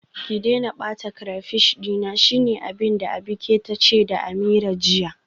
Ki daina bata crayfish dina, shine abinda Abike tace da Ameerah jiya.